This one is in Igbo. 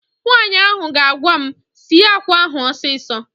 Nwaanyị ahụ ga-agwa m, sie àkwá ahụ ọsịsọ!